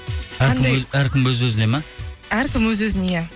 әркім өз өзіне ме әркім өз өзіне иә